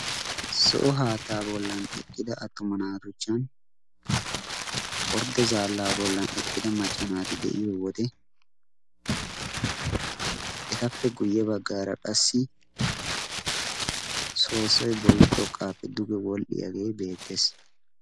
Zo'o haattaa bollan eqqida attoma naatuchchan ordde zaallaa bollan eqqida maccanaati de'iyo wode etappe guyye baggaara qassi soosoi bolla xoqqaappe duge wodhdhiyaagee beettees.